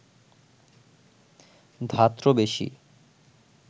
ধাত্র বেশী